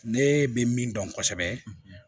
Ne bɛ min dɔn kosɛbɛ